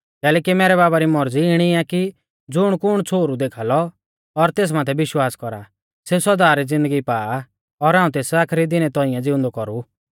कैलैकि मैरै बाबा री मौरज़ी इणी आ कि ज़ुणकुण छ़ोहरु देखा लौ और तेस माथै विश्वास कौरा सेऊ सौदा री ज़िन्दगी पा आ और हाऊं तेस आखरी दिनै तौंइऐ ज़िउंदौ कौरु